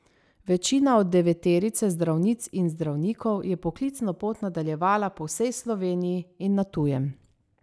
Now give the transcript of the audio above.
Večina od deveterice zdravnic in zdravnikov je poklicno pot nadaljevala po vsej Sloveniji in na tujem.